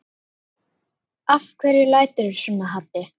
Af hverju læturðu svona Haddi?